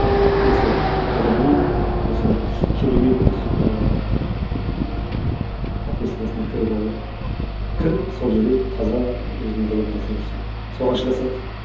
тек сол ғылымның осы бір керемет бір ііі кіріп алу кіріп сол жерде таза өзінің ғылымын жасап жүрсе соған шыдаса болды